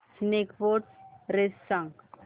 snake boat race सांग